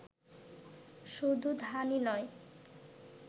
শুধু ধানই নই